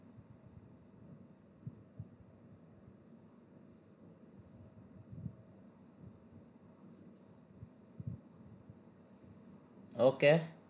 okay